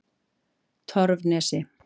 Torfnesi